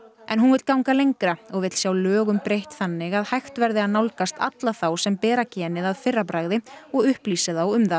en hún vill ganga lengra og vill sjá lögunum breytt þannig að hægt verði að nálgast alla þá sem bera genið að fyrra bragði og upplýsa þá um það